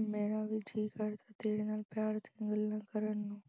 ਮੇਰਾ ਵੀ ਜੀਅ ਕਰਦਾ ਤੇਰੇ ਨਾਲ ਪਿਆਰ ਦੀਆਂ ਗੱਲਾਂ ਕਰਨ ਨੂੰ।